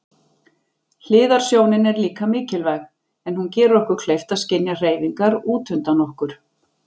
Hliðarsjónin er líka mikilvæg en hún gerir okkur kleift að skynja hreyfingar útundan okkur.